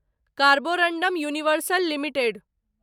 Carborundum universal limited